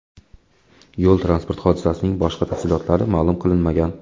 Yo‘l-transport hodisasining boshqa tafsilotlari ma’lum qilinmagan.